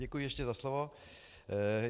Děkuji ještě za slovo.